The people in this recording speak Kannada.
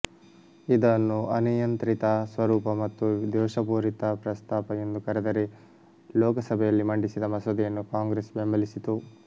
ಇದನ್ನು ಅನಿಯಂತ್ರಿತ ಸ್ವರೂಪ ಮತ್ತು ದೋಷಪೂರಿತ ಪ್ರಸ್ತಾಪ ಎಂದು ಕರೆದರೆ ಲೋಕಸಭೆಯಲ್ಲಿ ಮಂಡಿಸಿದ ಮಸೂದೆಯನ್ನು ಕಾಂಗ್ರೆಸ್ ಬೆಂಬಲಿಸಿತು